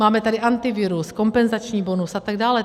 Máme tady Antivirus, kompenzační bonus a tak dále.